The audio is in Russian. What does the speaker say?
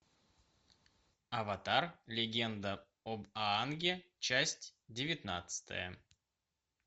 аватар легенда об аанге часть девятнадцатая